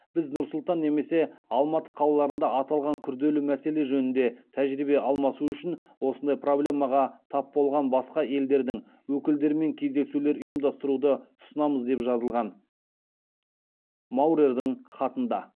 біз нұр сұлтан немесе алматы қалаларында аталған күрделі мәселе жөнінде тәжірибе алмасу үшін осындай проблемаға тап болған басқа елдердің өкілдерімен кездесулер ұйымдастыруды ұсынамыз деп жазылған маурердің хатында